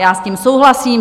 Já s tím souhlasím.